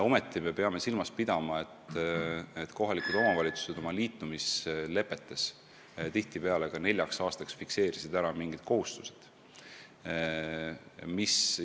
Samas peame silmas pidama, et kohalikud omavalitsused on liitumislepetes tihtipeale fikseerinud ära mingid kohustused neljaks aastaks.